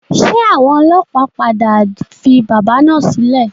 Ṣé àwọn ọlọ́pàá padà fi bábà náà sílẹ̀?